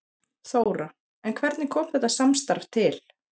Þóra: En hvernig kom þetta samstarf til?